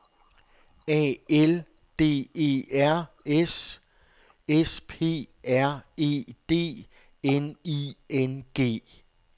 A L D E R S S P R E D N I N G